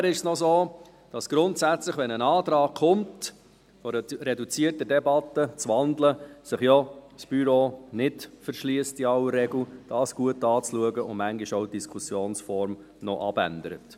Weiter ist es grundsätzlich so, dass wenn ein Antrag kommt, wonach eine reduzierte Debatte zu wandeln ist, das Büro sich in aller Regel nicht davor verschliesst, dies gut anzuschauen, und die Diskussionsform manchmal noch abändert.